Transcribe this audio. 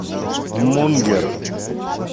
мунгер